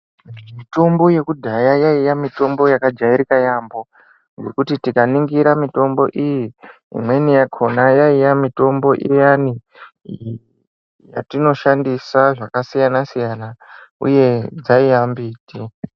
Mitombo yekudhaya yaiya mitombo yaka jairika yambo zvekuti tika ningira mitombo iyi imweni yakona yaiya mitombo iyani yatino shandisa zvaka siyana siyana uye dzaiya mbiti.